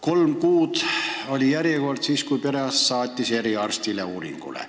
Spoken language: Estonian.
Kolm kuud oli järjekord, kui perearst saatis eriarsti juurde uuringule.